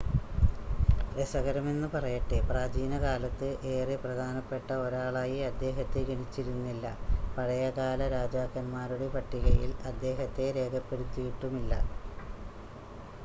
രസകരമെന്ന് പറയട്ടെ പ്രാചീനകാലത്ത് ഏറെ പ്രധാനപ്പെട്ട ഒരാളായി അദ്ദേഹത്തെ ഗണിച്ചിരുന്നില്ല പഴയകാല രാജാക്കൻമാരുടെ പട്ടികയിൽ അദ്ദേഹത്തെ രേഖപ്പെടുത്തിയിട്ടുമില്ല